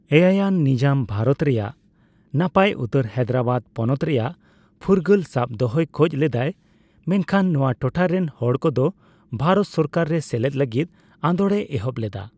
ᱮᱭᱟᱭᱟᱱ ᱱᱤᱡᱟᱢ ᱵᱷᱟᱨᱛ ᱨᱮᱭᱟᱜ ᱱᱟᱯᱟᱭ ᱩᱛᱟᱹᱨ ᱦᱟᱭᱫᱨᱟᱵᱟᱫ ᱯᱚᱱᱚᱛ ᱨᱮᱭᱟᱜ ᱯᱷᱩᱨᱜᱟᱹᱞ ᱥᱟᱵ ᱫᱚᱦᱚᱭ ᱠᱷᱚᱡ ᱞᱮᱫᱟᱭ ᱢᱮᱱᱠᱷᱟᱱ ᱱᱚᱣᱟ ᱴᱚᱴᱷᱟᱨᱮᱱ ᱦᱚᱲᱠᱚ ᱫᱚ ᱵᱷᱟᱨᱚᱛ ᱥᱚᱨᱠᱟᱨ ᱨᱮ ᱥᱮᱞᱮᱫ ᱞᱟᱹᱜᱤᱫ ᱟᱸᱫᱳᱲᱮ ᱮᱦᱚᱵ ᱞᱮᱫᱟ ᱾